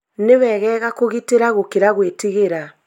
Nĩwegega kũgitĩra gũkĩra gwĩtigĩra